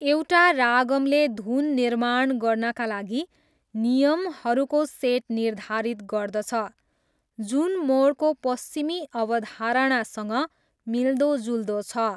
एउटा रागमले धुन निर्माण गर्नाका लागि नियमहरूको सेट निर्धारित गर्दछ, जुन मोडको पश्चिमी अवधारणासँग मिल्दोजुल्दो छ।